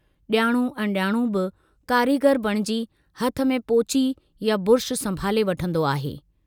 जाणू अणजाणू बि कारीगर बणिजी हथ में पोची या ब्रुश संभाले वठंदो आहे।